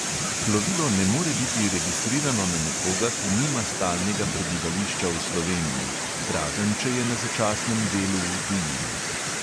Plovilo ne more biti registrirano na nekoga, ki nima stalnega prebivališča v sloveniji, razen če je na začasnem delu v tujini.